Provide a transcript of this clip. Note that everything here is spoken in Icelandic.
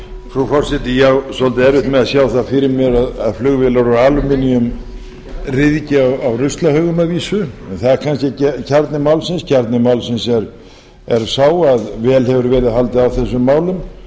frú forseti ég á svolítið erfitt með að sjá það fyrir mér að flugvélar úr alúminíum ryðgi á ruslahaugum að vísu en það er kannski ekki kjarni málsins kjarni málsins er sá að vel hefur verið haldið á þessum málum og